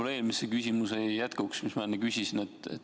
Minu eelmise küsimuse jätkuks.